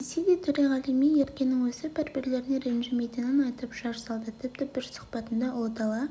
десе де төреғали мен еркенің өзі бір-бірлеріне ренжімейтінін айтып жар салды тіпті бір сұхбатында ұлы дала